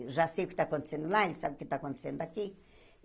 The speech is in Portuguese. Eu já sei o que está acontecendo lá, ele sabe o que está acontecendo daqui.